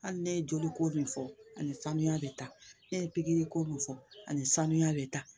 Hali ne ye joliko min fɔ ani sanuya bɛ taa ne ye pikiri ko min fɔ ani sanuya bɛ taa